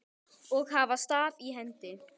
og hafa staf í hendi.